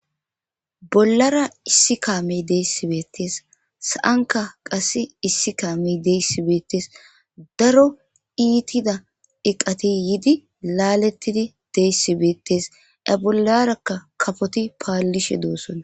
Bolara issi kame desi betes.sa7anka qasi issi kame desi betes.daro itida iqati yidi laletidi des betes.a bolaraka kafoti palishe dossona.